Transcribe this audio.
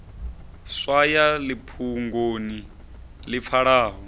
swaya ḽi fhungoni ḽi pfalaho